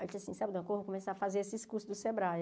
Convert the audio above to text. Aí eu disse assim, sabe, vou começar a fazer esses cursos do Sebrae.